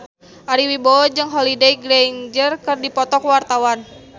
Ari Wibowo jeung Holliday Grainger keur dipoto ku wartawan